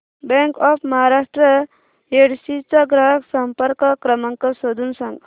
bank of Maharashtra Yedshi चा ग्राहक संपर्क क्रमांक शोधून सांग